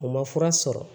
U ma fura sɔrɔ